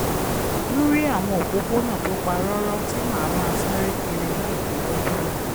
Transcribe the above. ń rí àwọn òpópónà tó pa rọ́rọ́ tí màá máa sáré kiri láìdáwọ́ dúró